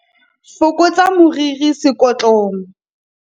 fokotsa moriri sekotlong